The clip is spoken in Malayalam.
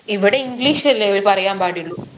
ഇവിടെ english അല്ലേ ഇവര് പറയാൻ പാടുള്ളു